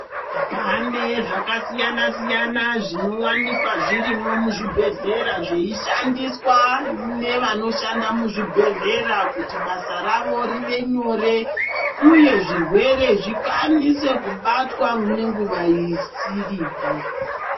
Pane zvakasiyana siyana zvinowanikwa zvirimo muzvibhedhlera zveyishandiswa nevanoshanda muzvibhedhkera kuti basa ravo rive nyore uye zvirwere zvikasire kubatwa nenguva isiripi.